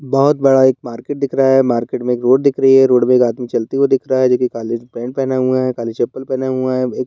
बहुत बड़ा एक मार्केट दिख रहा है। मार्केट में एक रोड दिख रही है रोड पे एक आदमी चलते हुए दिख रहा है जो की काले पैंट पहने हुए हैं काली चप्पल पहने हुए हैं एक --